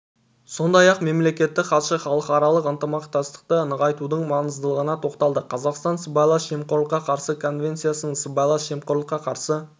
сондай-ақ мемлекеттік хатшы халықаралық ынтымақтастықты нығайтудың маңыздылығына тоқталды қазақстан сыбайлас жемқорлыққа қарсы конвенциясының сыбайлас жемқорлыққа қарсы